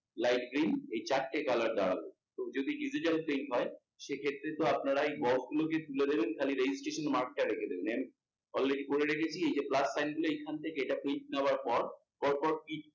light green এই চারটে colour দেওয়া হয়েছে। যদি digital paint হয় সেক্ষেত্রে তো আপনারা এই box গুলোকে তুলে দেবেন খালি registration mark রেখে দেবেন। Already করে রেখেছি এই plus sign গুলো এখানে থেকে এটা নেওয়ার পর, পর পর তিনটি